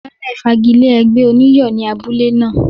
Baálè fagi lé ẹgbẹ́ oní iyọ̀ ni abule náà.